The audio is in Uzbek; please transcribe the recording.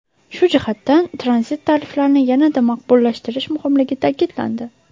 Shu jihatdan tranzit tariflarini yanada maqbullashtirish muhimligi ta’kidlandi.